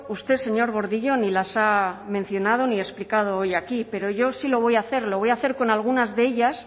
usted señor gordillo ni las ha mencionado ni explicado hoy aquí pero yo sí lo voy a hacer lo voy a hacer con algunas de ellas